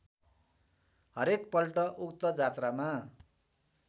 हरेकपल्ट उक्त जात्रामा